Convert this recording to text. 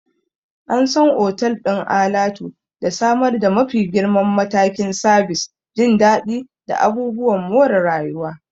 An san otal ɗin alatu da samar da mafi girman matakin sabis, jin daɗi, da abubuwan more rayuwa.